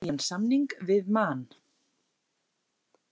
Hann gerði nýjan samning við Man.